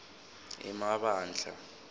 emabandla